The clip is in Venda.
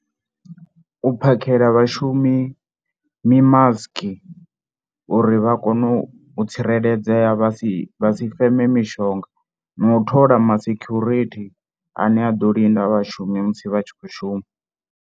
U phakheli vhashumi mimasiki uri vha kone u tsireledzea vha si vha si feme mishonga na u thola ma security ane a ḓo linda vhashumi musi vha tshi khou shuma.